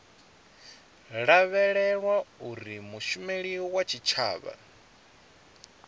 lavhelelwa uri mushumeli wa tshitshavha